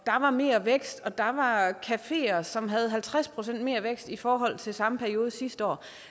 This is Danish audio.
der var mere vækst og at der var cafeer som havde halvtreds procent mere vækst i forhold til samme periode sidste år